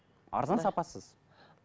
арзан сапасыз